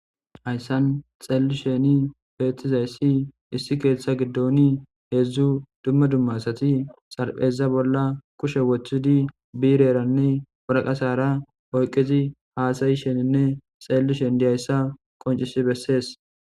Asan tseellisheni bettiza issi issi keetha giddoni hezzu dumma dumma asati tsarpheza bolla kushe woththidi birranne woraqatara oyqqidi haasayisheninne tsellshen dayssa qonccissi bessees.